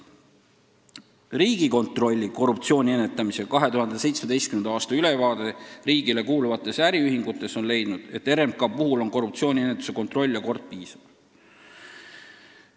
Riigikontrolli korruptsiooni ennetamise 2017. aasta ülevaates riigile kuuluvate äriühingute kohta on leitud, et RMK-s on korruptsiooniennetuse kontroll ja kord piisav.